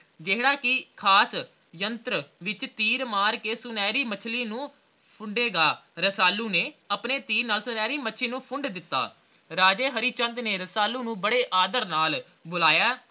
ਜਿਹੜਾ ਕੇ ਖਾਸ ਜੰਤਰ ਵਿਚ ਤੀਰ ਮਾਰ ਕੇ ਸੁਨਹਿਰੀ ਮੱਛਲੀ ਨੂੰ ਫੁੰਡੇਗਾ ਰਸਾਲੂ ਨੇ ਆਪਣੇ ਤੀਰ ਨਾਲ ਸੁਨਹਿਰੀ ਮੱਛਲੀ ਨੂੰ ਫੁੰਡ ਦਿੱਤਾ ਰਾਜੇ ਹਰੀਚੰਦ ਨੇ ਰਸਾਲੂ ਨੂੰ ਬੜੇ ਆਦਰ ਨਾਲ ਬੁਲਾਇਆ